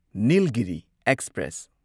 Nilgiri express